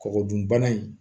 Kɔgɔ dun bana in